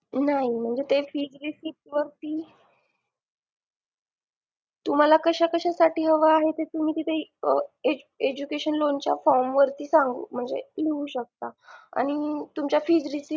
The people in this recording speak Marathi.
नाही म्हणजे ते fees receipt वरती तुम्हाला कशा कशा साठी हवे आहे ते तुम्ही तिथे education loan च्या form वरती सांगू म्हणजे लिहू शकता आणि तुम्हाच्या fees receipt